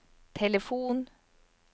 telefon